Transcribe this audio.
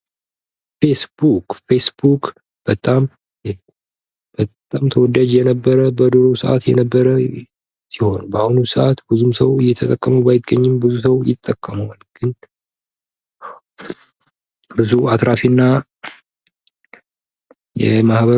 ፌስቡክ ፌስቡክ በጣም በጣም ተወዳጅ የነበረ በድሮ ሰአት የነበረ ሲሆን፤ በአሁኑ ሰዓት ብዙም ሰው እየተጠቀመው ባይገኝም ብዙ ሰው ይጠቅመዋል። ግን ብዙ አትራፊና ይሄ ማህበር